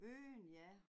Unden ja